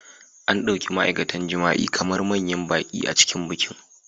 An ɗauki ma'aikatan jima'i kamar manyan baƙi a cikin bikin.